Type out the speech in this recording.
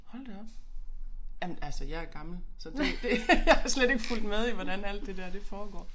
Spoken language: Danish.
Hold da op. Jamen altså jeg gammel så det det jeg har slet ikke fulgt med i hvordan alt det der det foregår